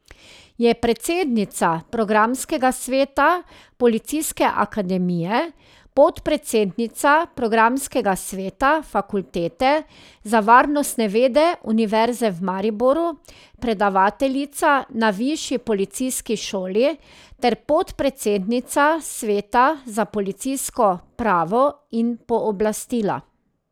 Je predsednica programskega sveta Policijske akademije, podpredsednica programskega sveta Fakultete za varnostne vede Univerze v Mariboru, predavateljica na Višji policijski šoli ter podpredsednica sveta za policijsko pravo in pooblastila.